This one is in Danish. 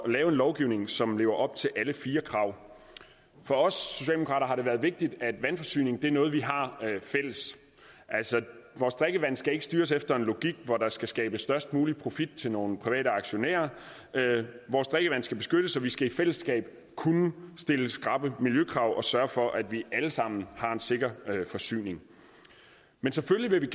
at lave en lovgivning som lever op til alle fire krav for os socialdemokrater har det været vigtigt at vandforsyning er noget vi har fælles vores drikkevand skal ikke styres efter en logik hvor der skal skabes størst mulig profit til nogle private aktionærer vores drikkevand skal beskyttes og vi skal i fællesskab kunne stille skrappe miljøkrav og sørge for at vi alle sammen har en sikker forsyning men selvfølgelig vil